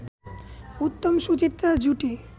উত্তম-সুচিত্রা জুটি